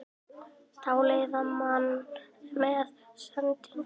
Dáleiða mann með sendingunum